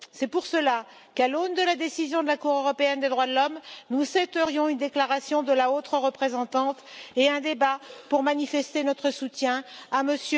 C'est pour cela qu'à l'aune de la décision de la Cour européenne des droits de l'homme, nous souhaiterions une déclaration de la haute représentante et un débat pour manifester notre soutien à M.